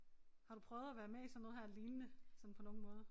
Har du prøvet at være med i sådan noget her lignende sådan på nogen måder